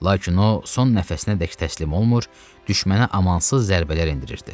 Lakin o son nəfəsinədək təslim olmur, düşmənə amansız zərbələr endirirdi.